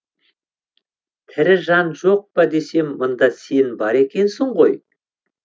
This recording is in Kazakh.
тірі жан жоқпа десем мында сен бар екенсің ғой